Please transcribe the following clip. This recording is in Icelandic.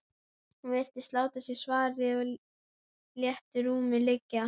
Hún virtist láta sér svarið í léttu rúmi liggja.